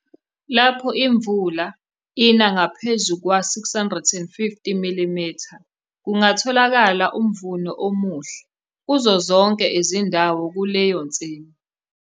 Lapho imvula ina ngaphezu kwa-650 mm, kungatholakala umvuno omuhle kuzo zonke izindawo kuleyo nsimi.